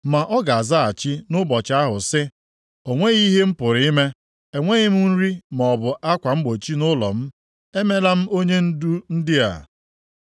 Ma ọ ga-azaghachi nʼụbọchị ahụ sị, “O nweghị ihe m pụrụ ime. Enweghị m nri maọbụ akwa mgbochi nʼụlọ m. Emela m onyendu ndị a.”